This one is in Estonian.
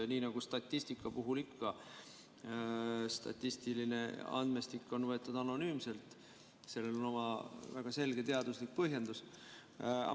Nii nagu statistika puhul ikka on statistiline andmestik võetud anonüümselt, sellel on oma väga selge teaduslik põhjendus.